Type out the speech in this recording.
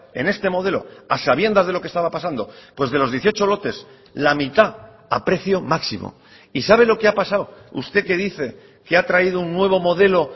en este modelo a sabiendas de lo que estaba pasando pues de los dieciocho lotes la mitad a precio máximo y sabe lo que ha pasado usted que dice que ha traído un nuevo modelo